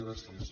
gràcies